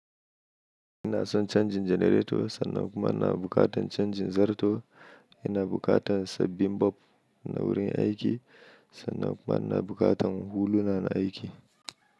Ina son canjin janareto sannan kuma ina bukatan canjin zarto. Ina bukatan sabbin bulb na wurin aiki sannan kuma ina bukatan huluna na aiki.